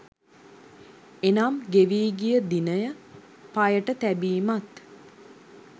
එනම් ගෙවී ගිය දිනය පයට තැබීමත්